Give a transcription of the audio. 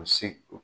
U se